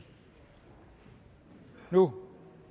nu